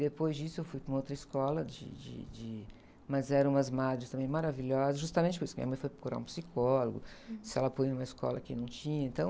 Depois disso eu fui para uma outra escola, de, de, de, mas eram umas madres também maravilhosas, justamente por isso que minha mãe foi procurar um psicólogo, se ela punha em uma escola que não tinha, então...